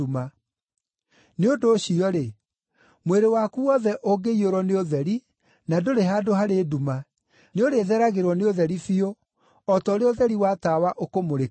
Nĩ ũndũ ũcio-rĩ, mwĩrĩ waku wothe ũngĩiyũrwo nĩ ũtheri, na ndũrĩ handũ harĩ nduma, nĩũrĩtheragĩrwo nĩ ũtheri biũ, o ta ũrĩa ũtheri wa tawa ũkũmũrĩkagĩra.”